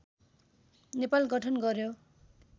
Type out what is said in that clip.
नेपाल गठन गर्‍यो